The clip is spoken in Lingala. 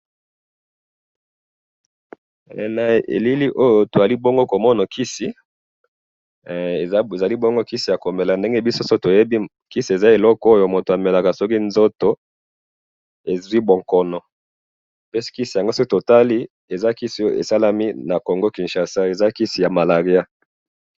he na elili oyo tozali bongo tozali komona kisi , kisi ezali ya komela ndenge biso toyebi kisi eza oyo tomelaka soki nzoto ezwi bongono, pe kisi yango soki totali eza kisi esalemi na kinshasa eza kisi y malariya. \